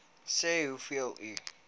sê hoeveel u